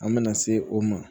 An mɛna se o ma